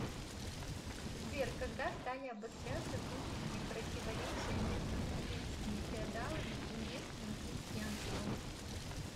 сбер когда стали обостряться внутренние противоречия между немецкими феодалами и местным крестьянством